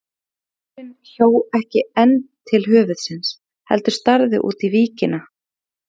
Máfurinn hjó ekki enn til höfuðsins heldur starði út á víkina.